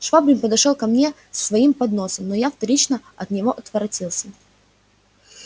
швабрин подошёл ко мне с своим подносом но я вторично от него отворотился